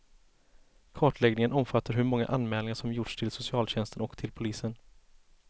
Kartläggningen omfattar hur många anmälningar som gjorts till socialtjänsten och till polisen.